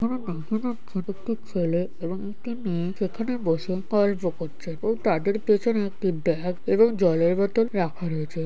এখানে দেখা যাচ্ছে একটি ছেলে এবং একটি মেয়ে সেখানে বসে গল্প করছে ও তাদের পেছনে একটি বেগ এবং জলের বোতল রাখা রয়েছে।